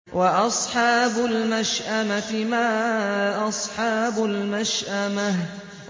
وَأَصْحَابُ الْمَشْأَمَةِ مَا أَصْحَابُ الْمَشْأَمَةِ